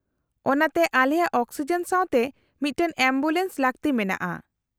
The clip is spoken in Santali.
-ᱚᱱᱟᱛᱮ ᱟᱞᱮᱭᱟᱜ ᱚᱠᱥᱤᱡᱮᱱ ᱥᱟᱶᱛᱮ ᱢᱤᱫᱴᱟᱝ ᱮᱢᱵᱩᱞᱮᱱᱥ ᱞᱟᱹᱠᱛᱤ ᱢᱮᱱᱟᱜᱼᱟ ᱾